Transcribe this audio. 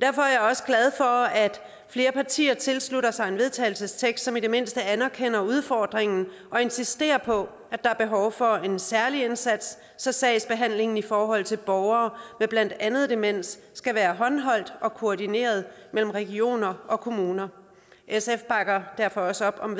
derfor er jeg også glad for at flere partier tilslutter sig en vedtagelsestekst som i det mindste anerkender udfordringen og insisterer på at der er behov for en særlig indsats så sagsbehandlingen i forhold til borgere med blandt andet demens skal være håndholdt og koordineret mellem regioner og kommuner sf bakker derfor også op om